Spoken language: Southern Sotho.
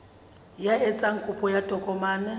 ya etsang kopo ya tokomane